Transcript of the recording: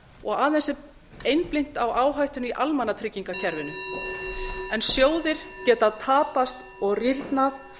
og aðeins er einblínt á áhættuna í almannatryggingakerfinu en sjóðir geta tapað og rýrnað